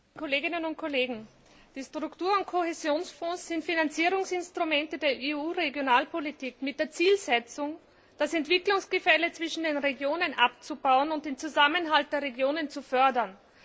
Herr Präsident, liebe Kolleginnen und Kollegen! Die Struktur und Kohäsionsfonds sind Finanzierungsinstrumente der EU Regionalpolitik mit der Zielsetzung, das Entwicklungsgefälle zwischen den Regionen abzubauen und den Zusammenhalt der Regionen zu fördern.